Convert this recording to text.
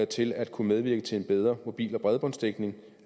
til at kunne medvirke til en bedre mobil og bredbåndsdækning